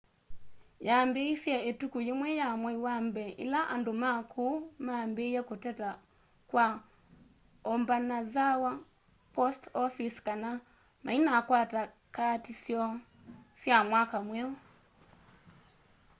yambiisye ituku yimwe ya mwai wa mbee ila andu ma kuu mambiiiye kuteta kwa obanazawa post office kana mainakwata kaati syoo sya mwaka mweu